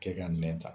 Kɛ ka nɛn ta